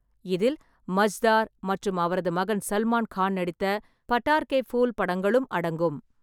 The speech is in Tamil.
இதில் மஜ்தார் மற்றும் அவரது மகன் சல்மான் கான் நடித்த பட்டார் கே ஃபூல் படங்களும் அடங்கும்.